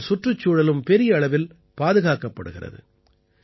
இதனால் சுற்றுச்சூழலும் பெரிய அளவில் பாதுகாக்கப்படுகிறது